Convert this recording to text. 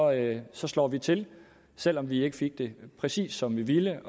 at så slår vi til selv om vi ikke fik det præcis som vi ville